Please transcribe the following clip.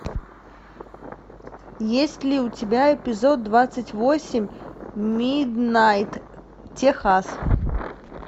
есть ли у тебя эпизод двадцать восемь миднайт техас